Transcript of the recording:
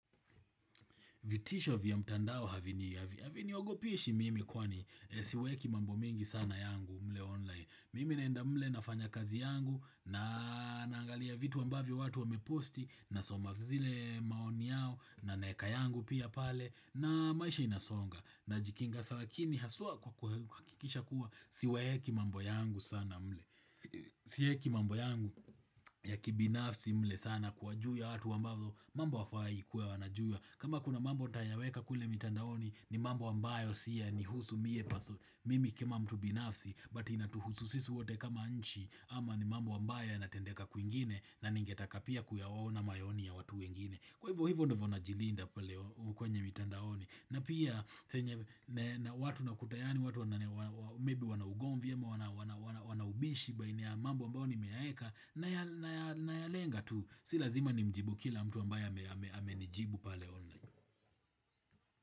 Vitisho vya mtandao havini. Havini ogopeshi mimi kwani siweki mambo mingi sana yangu mle online. Mimi naenda mle nafanya kazi yangu na naangalia vitu ambavyo watu wameposti na soma zile maoni yao na naeka yangu pia pale na maisha inasonga. Najikinga salakini haswa kwa kuhakikisha kuwa siwaeki mambo yangu sana mle. Sieki mambo yangu ya kibinafsi mle sana kwa juu ya watu ambavyo mambo hawafai kuwa wana jua. Kama kuna mambo tayaweka kule mitandaoni ni mambo ambayo siya ni husu mie paso mimi kama mtu binafsi but inatuhusu sisi wote kama nchi ama ni mambo ambayo ya natendeka kwingine na ningetaka pia kuyaona maoni ya watu wengine Kwa hivyo hivyo ndivyo na jilinda kwenye mitandaoni na pia saa yenye na watu nakuta yaani, watu wana maybe wanaugomvi ama, wanaubishi baina mambo ambayo nimeyaeka na ya lenga tu si lazima ni mjibu kila mtu ambaye amenijibu pale online.